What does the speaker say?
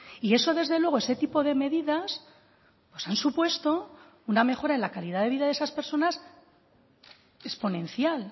y eso desde luego ese tipo de medidas han supuesto una mejora en la calidad de vida de esas personas exponencial